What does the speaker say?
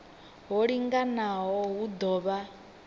ho linganaho hu ḓo vha